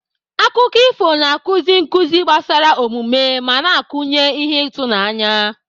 Akụkọ ifo na-akụzi nkuzi gbasara omume ma na-akụnye ihe ịtụnanya.